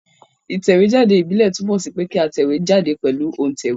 Ìtẹ̀wé jáde ìbílè túnmò sí pe kí a tẹ̀wé jáde pèlu òntẹ̀wé